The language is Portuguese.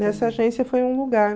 Nessa agência foi um lugar.